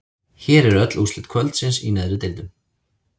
Hér eru öll úrslit kvöldsins í neðri deildum: